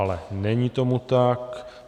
Ale není tomu tak.